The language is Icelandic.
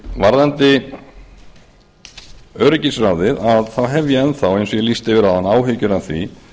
varðandi öryggisráðið þá hef ég enn þá eins og ég lýsti yfir áðan áhyggjur af því